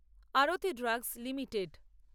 Arati drugs limited